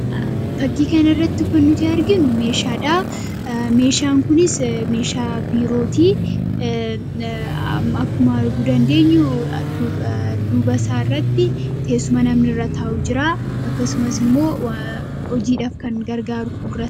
Fakkii kanarratti kan nuti arginu meeshadhaa. Meeshaan kunisii meeshaa biirootii. Akkuma arguu dandeenyu duubasaarratti teessuma namni irra taa'u jiraa. akkasumas immoo hojiidhaf kan gargaaru fuuldurasaa jira.